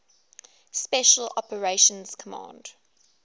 special operations command